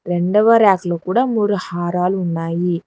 రెండవ ర్యక్లో కూడా మూడు హారాలు ఉన్నాయి.